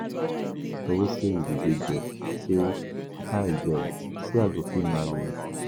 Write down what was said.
Na my pastor wey say you be good girl, say I girl, say I go fit marry you.